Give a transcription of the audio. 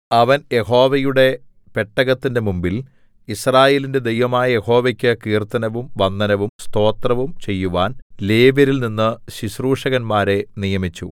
അവൻ യഹോവയുടെ പെട്ടകത്തിന്റെ മുമ്പിൽ യിസ്രായേലിന്റെ ദൈവമായ യഹോവയ്ക്കു കീർത്തനവും വന്ദനവും സ്തോത്രവും ചെയ്യുവാൻ ലേവ്യരിൽനിന്ന് ശുശ്രൂഷകന്മാരെ നിയമിച്ചു